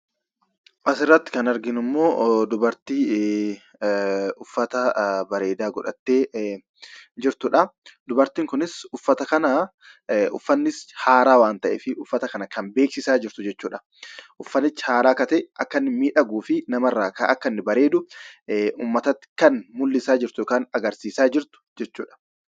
Asirratti kan arginu ammoo dubartii uffata bareedaa godhattee jirtudha. Dubartiin kun uffanni haaraa waan ta'eef uffata kana kan beeksisaa jirtu jechuudha. Uffatichi haaraa akka ta'e, akka midhaguufi namarraa akka inni bareedu ummatatti kan agarsiisa jirtu yookaan mul'isaa jirtu jechuudha.